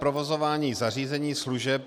Provozování zařízení služeb.